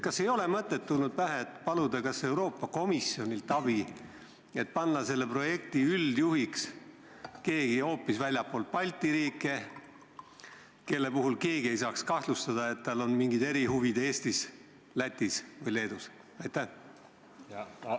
Kas kellelgi ei ole tulnud pähe mõtet paluda Euroopa Komisjonilt abi, et selle projekti üldjuhiks pandaks keegi hoopis väljastpoolt Balti riike, keegi selline, kelle puhul ei saaks kahtlustada, et tal on Eestis, Lätis või Leedus mingid erihuvid?